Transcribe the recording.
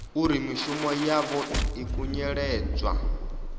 uri mishumo yavho i khunyeledzwa